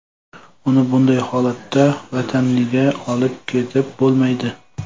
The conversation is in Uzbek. Uni bunday holatda vataniga olib ketib bo‘lmaydi.